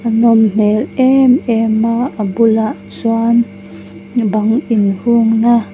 a nawm hmel em em a a bulah chuan bang in hung na --